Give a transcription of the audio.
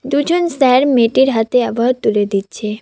দুজন স্যার মেয়েটির হাতে অ্যাওয়ার্ড তুলে দিচ্ছে।